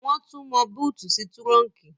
Wọ́n tún mọ búùtì sí túrọ́unkì